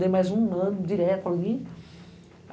Dei mais um ano direto ali.